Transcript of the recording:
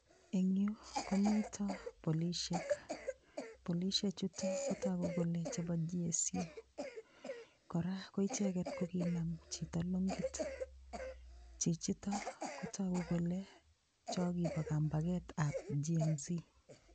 Engyu komito polishek, polishechutok kotogu kolechebo GSU. Kora koicheket kokinam chito long'it .Chichito kotogu kole cho kibo kambaketab Gen-z.